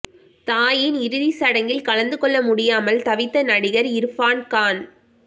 தாயின் இறுதி சடங்கில் கலந்து கொள்ள முடியாமல் தவித்த நடிகர் இர்பான் கான்